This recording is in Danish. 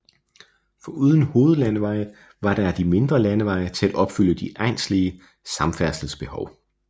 Foruden hovedlandeveje var der der mindre landeveje til at opfylde de egnslige samfærdselsbehov